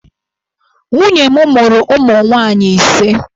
Nwunye m mụrụ ụmụ nwaanyị ise.